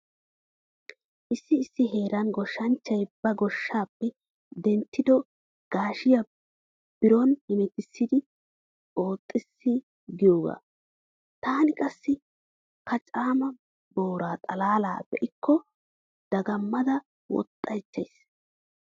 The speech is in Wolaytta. Issi issi heeran goshshanchchay ba goshshaape denttido gaashiya booran hemetissidi oxxees giyoogaa. Taani qassi kacaama boora xalaala be'ikko dagammada woxxaychchays.